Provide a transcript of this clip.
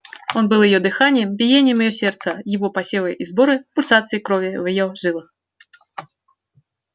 он был её дыханием биением её сердца его посевы и сборы пульсацией крови в её жилах